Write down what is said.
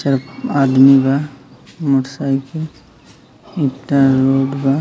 सब आदमी बा और सब रोड बा।